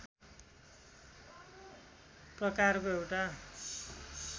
प्रकारको एउटा